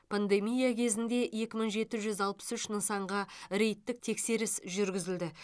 пандемия кезінде екі мың жеті жүз алпыс үш нысанға рейдтік тексеріс жүргізілді